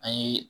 An ye